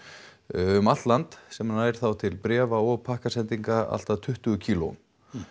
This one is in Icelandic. um allt land sem nær þá til bréfa og pakkasendinga allt að tuttugu kílóum